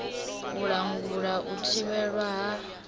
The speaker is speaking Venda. u langula u thivhelwa ha